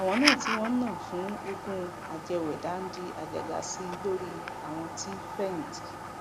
àwọn náà tí wọn ń ná fún oògùn ajẹwẹdà ń di àjàgà sí i lórí àwọn tí fẹyìntì